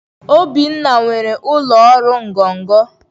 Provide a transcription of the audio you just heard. Obinna nwere ụlọ ọrụ ngọngọ